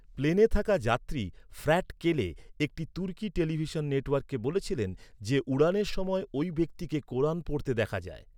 প্লেনে থাকা যাত্রী ফ্র্যাট কেলে একটি তুর্কি টেলিভিশন নেটওয়ার্ককে বলেছিলেন যে, উড়ানের সময় ওই ব্যক্তিকে কোরান পড়তে দেখা যায়।